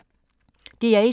DR1